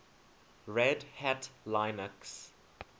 red hat linux